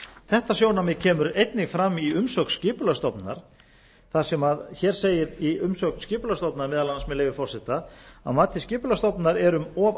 þetta sjónarmið kemur einnig fram í umsögn skipulagsstofnunar þar sem segir meðal annars með leyfi forseta að mati skipulagsstofnun er um of